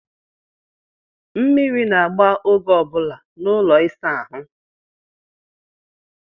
Mmiri na-agba oge ọ bụla n'ụlọ ịsa ahụ.